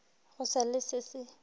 go sa le se se